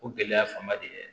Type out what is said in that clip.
O gɛlɛya fanba de ye